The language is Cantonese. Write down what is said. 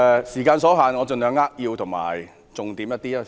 時間所限，我盡量扼要就重點發言。